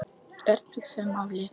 Örn hugsaði málið.